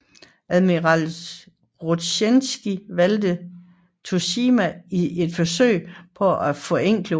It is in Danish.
Admiral Rozjestvenskij valgte Tsushima i et forsøg på at forenkle ruten